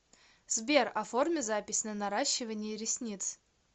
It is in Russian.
сбер оформи запись на наращивание ресниц